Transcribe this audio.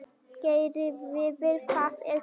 Geirleifur, hvað er klukkan?